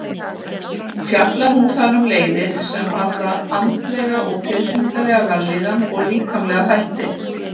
Fjallar hún þar um leiðir sem varða andlega og tilfinningalega vellíðan og líkamlega þætti.